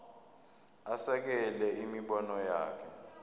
asekele imibono yakhe